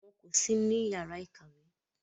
Wọn kò sí ní yàrá ìkàwé.